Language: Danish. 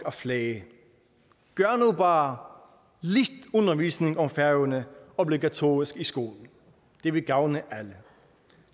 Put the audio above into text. at flage gør nu bare lidt undervisning om færøerne obligatorisk i skolen det vil gavne alle